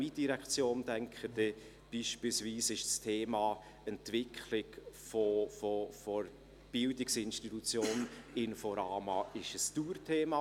Wenn ich an meine Direktion denke, ist beispielsweise die Entwicklung der Bildungsinstitution Inforama ein Dauerthema.